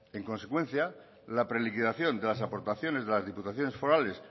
en consecuencia la pre liquidación de las aportaciones de las diputaciones forales